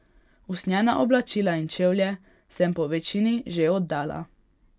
Usnjena oblačila in čevlje sem po večini že oddala.